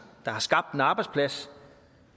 der har skabt en arbejdsplads